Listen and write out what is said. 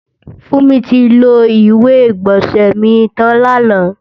Fúnmi ti lo ìwé-ìgbọ̀nsẹ̀ mi tàn làná